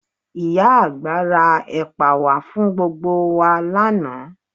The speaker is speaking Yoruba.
Ìyá àgbà ra ẹ̀pà wá fún gbogbo wa lánàá